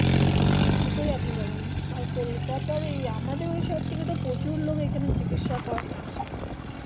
দুটোই আপনি পাবেন আর কলকাতার এই আমাদের ওই side থেকে তো প্রচুর লোক এখানে চিকিৎসা করতে আসেন